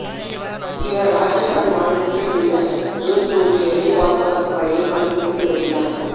இவர் ராஜஸ்தான் மாநிலத்தில் உள்ள ஜோத்பூரில் எல்லைப் பாதுகாப்புப் படையில் பணிபுரிந்து வருகிறார்